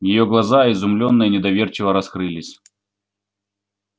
её глаза изумлёенно и недоверчиво раскрылись